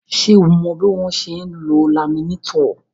Ṣé o mọ bí wọ́n ṣe ń lo laminétọ̀?